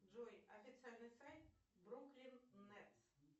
джой официальный сайт бруклин нетс